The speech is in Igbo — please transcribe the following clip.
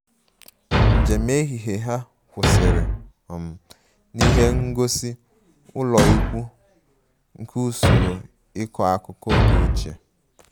Njem ehihie ha kwụsịrị um n'ihe ngosi ụlọikwuu nke usoro ịkọ akụkọ oge ochie